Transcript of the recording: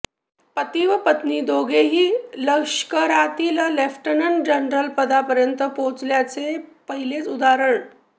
पती व पत्नी दोघेही लष्करातील लेफ्टनंट जनरल पदापर्यंत पोहोचल्याचे हे पहिलेच उदाहरण